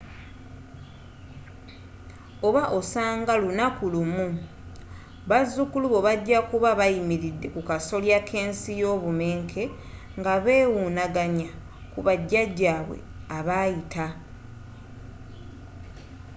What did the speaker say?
oba osanga lunaku lumu, bazzukulu bo bajja kuba bayimiridde kukasolya kensi yobumenke ngabewunaganya kuba jjajabwe abayita?